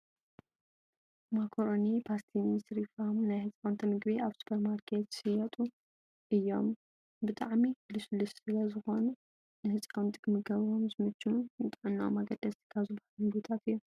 ማኮሮኒን ባስቲኒ፣ ስሪፋም ናይ ህፃውንቲ ምግቢ ኣብ ሱፐርማርኬት ዝሽየጡ እዮም። ብጣዕሚ ልስሉስ ስለ ዝኮነ ንህፃውንቲ ክምገብዎ ዝምችውን ንጥዕኖኦም ኣገደስቲ ካብ ዝባሃሉ ምግብታት እዮም።